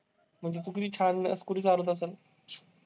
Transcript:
म्हणजे तू किती छान scooter चालवत असंल!